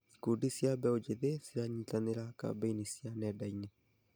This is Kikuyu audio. Ikundi cia mbeũ njĩthĩ ciranyitanĩra kambĩini cia nenda-inĩ.